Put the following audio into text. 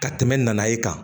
Ka tɛmɛ nana ye kan